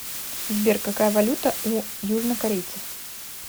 сбер какая валюта у южнокорейцев